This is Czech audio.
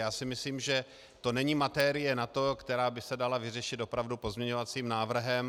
Já si myslím, že to není materie na to, která by se dala vyřešit opravdu pozměňovacím návrhem.